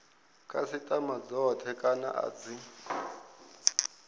khasitama dzothe kana a dzi